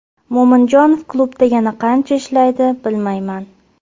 Mo‘minjonov klubda yana qancha ishlaydi bilmayman.